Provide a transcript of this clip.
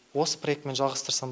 осы проектімен жалғастырсам